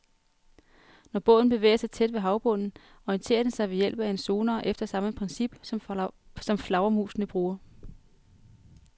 Når båden bevæger sig tæt ved havbunden, orienterer den sig ved hjælp af en sonar efter samme princip, som flagermusene bruger.